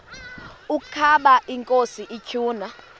ukaba inkosi ituna